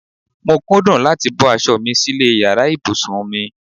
Mo kúndùn láti bọ́ aṣọ mi sílè yàrá ìbùsùn mi.